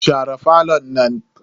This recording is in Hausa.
Share falon nan.